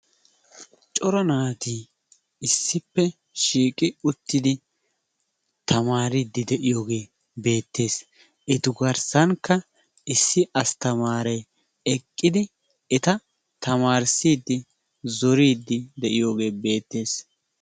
Cora naati issippe shiiqqi uttidi taamaridi de'iyoogee beettees. Etu garssankka issi astamarekka eeqqidi eta tamaarissidi zooridi de'iyoogee beettees.